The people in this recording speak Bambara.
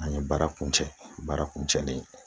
An ye baara kuncɛ baara kun cɛlen ye